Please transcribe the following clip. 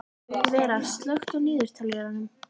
Vera, slökktu á niðurteljaranum.